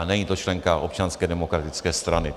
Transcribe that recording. A není to členka Občanské demokratické strany.